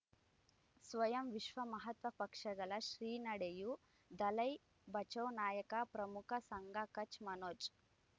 ಸ್ವಯಂ ವಿಶ್ವ ಮಹಾತ್ಮ ಪಕ್ಷಗಳು ಶ್ರೀ ನಡೆಯೂ ದಲೈ ಬಚೌ ನಾಯಕ ಪ್ರಮುಖ ಸಂಘ ಕಚ್ ಮನೋಜ್